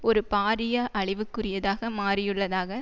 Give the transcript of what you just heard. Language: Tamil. ஒரு பாரிய அழிவுக்குரியதாக மாறியுள்ளதாக